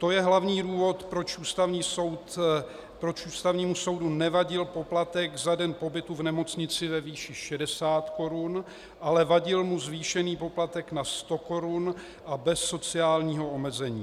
To je hlavní důvod, proč Ústavnímu soudu nevadil poplatek za den pobytu v nemocnici ve výši 60 korun, ale vadil mu zvýšený poplatek na 100 korun a bez sociálního omezení.